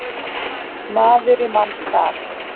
Maður í manns stað